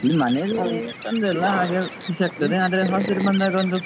ಮನೇಲಿ ತೊಂದ್ರೆ ಇಲ್ಲ ಹಾಗೆ ಖುಷಿ ಆಗ್ತದೆ ಆದ್ರೆ hostel ಬಂದಾಗ ಒಂದು